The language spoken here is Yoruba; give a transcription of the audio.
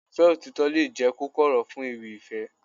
Ìfẹ́ òtítọ́ lè jẹ́ kókó ọ̀rọ̀ fún ewì ìfẹ́